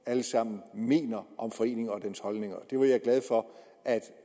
alle sammen mener om foreningen og dens holdninger det var jeg glad for at